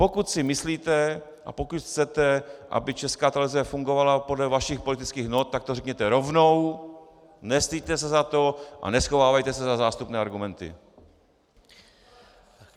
Pokud si myslíte a pokud chcete, aby Česká televize fungovala podle vašich politických not, tak to řekněte rovnou, nestyďte se za to a neschovávejte se za zástupné argumenty!